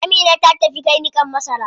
Amina ta tafi kai niƙan masara.